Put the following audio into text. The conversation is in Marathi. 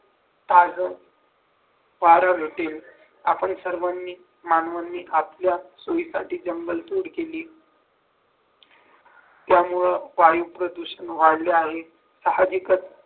ताज वारा भेटेल आपण सर्वांनी मानवाने आपल्या सुविधासाठी जंगलतोड केली त्यामुळे वायू प्रदूषण वाढले आहेत सहाजिकच